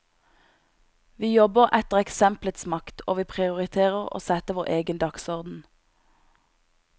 Vi jobber etter eksemplets makt, og vi prioriterer å sette vår egen dagsorden.